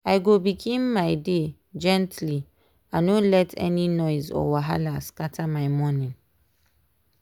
i go begin my day gently i no let any noise or wahala scatter my morning.